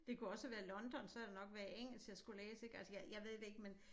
Det kunne også have været London så havde det nok været engelsk jeg skulle læse ik altså jeg jeg ved det ikke men